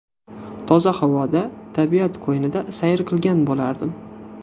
Toza havoda, tabiat qo‘ynida sayr qilgan bo‘lardim.